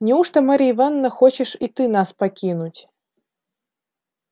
неужто марья ивановна хочешь и ты нас покинуть